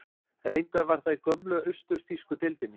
Reyndar var það í gömlu austur-þýsku deildinni.